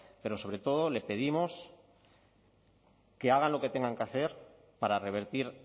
pero sobre todo le pedimos que hagan lo que tengan que hacer para revertir